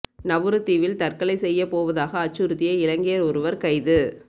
நவுரு தீவில் தற்கொலை செய்யப் போவதாக அச்சுறுத்திய இலங்கையர் ஒருவர் கைது